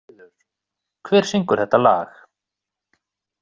Ketilríður, hver syngur þetta lag?